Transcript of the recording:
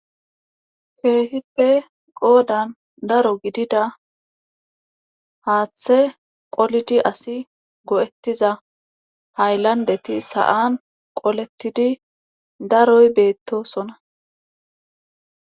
Keehippe qoodan daro gidida haaththe qolidi asi go7ettiza hayllandeti sa7an qoletidi daroy beettosona